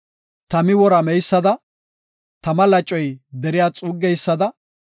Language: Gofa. Tami wora meysada, tama lacoy deriya xuuggeysada,